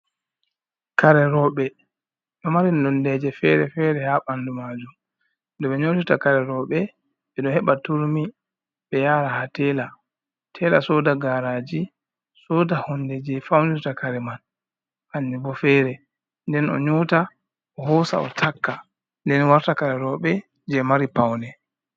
kareroɓe ɗo mari nondeje fere-fere ha bandu majum. Ɗo ɓe nyotota kare roɓe be ɗo heba turmi be yara ha tela, tela soda garaji, soda honde je faunuta kare man hanjubo fere nden o nyota o hosa o taka nden warta kare roɓe je mari paune.